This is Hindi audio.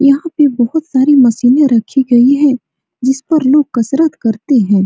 यहाँ पे बहुत सारे मशीने रखी गई है जिस पे लोग कसरत करते हैं।